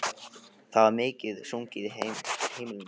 Það var mikið sungið á heimilinu.